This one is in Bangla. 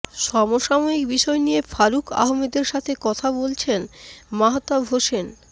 সমসাময়িক বিষয় নিয়ে ফারুক আহমেদের সাথে কথা বলেছেন মাহতাব হোসেন